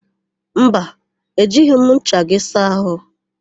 Mba, ejighị m ncha gị saa àhụ́.